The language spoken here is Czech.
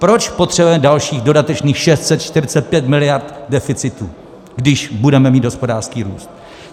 Proč potřebujeme dalších, dodatečných 645 miliard deficitu, když budeme mít hospodářský růst?